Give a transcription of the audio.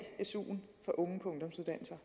suen fra unge på ungdomsuddannelser